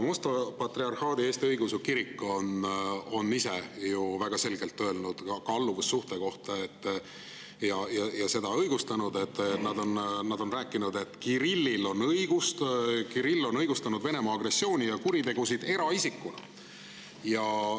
Moskva Patriarhaadi Eesti Õigeusu Kirik on ise ju väga selgelt oma alluvussuhte kohta öelnud ja seda õigustanud sellega, et Kirill on õigustanud Venemaa agressiooni ja kuritegusid eraisikuna.